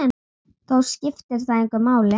Þó skiptir það engu máli.